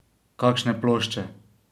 Kakšne plošče?